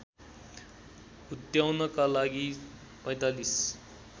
हुत्याउनका लागि ४५